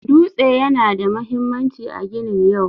Dutse yana da mahimmanci a ginin yau.